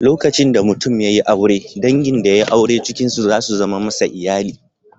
Lokacin da mutum ya yi aure, dangin da yai aure cikin su za su zame masa iyali.